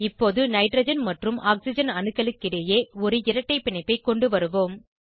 இப்போது நைட்ரஜன் மற்றும் ஆக்சிஜன் அணுக்களுக்கிடையே ஒரு இரட்டை பிணைப்பை கொண்டுவருவோம்